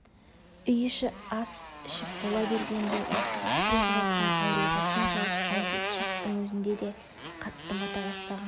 үй іші ас ішіп бола бергенде үнсіз сұлық жатқан ауруға соншалық әлсіз шақтың өзінде де қатты бата бастаған